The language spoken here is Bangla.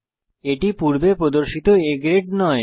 এটি পূর্বে প্রদর্শিত A গ্রেড নয়